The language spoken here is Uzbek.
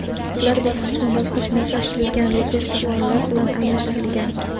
Ular bosqichma-bosqich moslashtirilgan rezervuarlar bilan almashtirilgan.